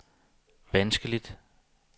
vanskeligt